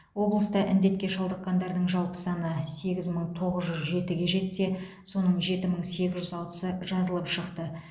облыста індетке шалдыққандардың жалпы саны сегіз мың тоғыз жүз жетіге жетсе соның жеті мың сегіз жүз алтысы жазылып шықты